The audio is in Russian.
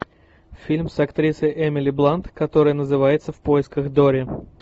фильм с актрисой эмили блант который называется в поисках дори